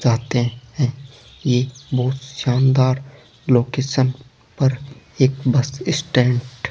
जानते हैं ये बहुत शानदार लोकेशन पर एक बस स्टैंड --